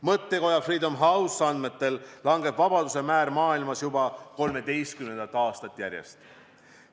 Mõttekoja Freedom House andmetel langeb vabaduse määr maailmas juba 13. aastat järjest.